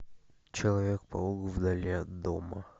человек паук вдали от дома